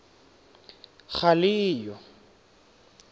galeyo